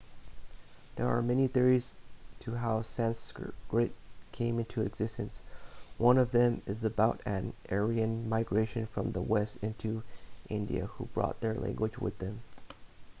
there are many theories to how sanskrit came into existence one of them is about an aryan migration from the west into india who brought their language with them